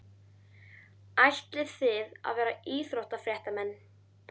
Ætlið þið að vera íþróttafréttamenn?